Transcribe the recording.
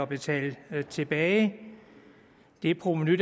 betaler tilbage det provenu